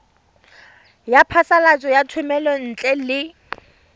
ya phasalatso ya thomelontle le